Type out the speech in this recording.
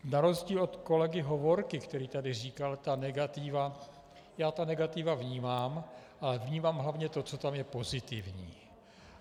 Na rozdíl od kolegy Hovorky, který tady říkal ta negativa, já ta negativa vnímám, ale vnímám hlavně to, co tam je pozitivní.